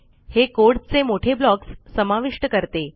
हे कोड चे मोठे ब्लॉक्स समाविष्ट करते